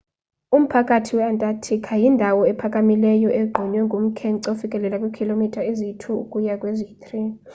umphakathi we-antarctica yindawo ephakamileyo egqunywe ngumkhence ofikelela kwiikhilomitha eziyi-2 ukuya kweziyi-3